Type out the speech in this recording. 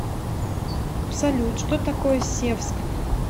салют что такое севск